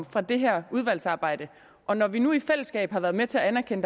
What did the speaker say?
fra det her udvalgsarbejde og når vi nu i fællesskab har været med til at anerkende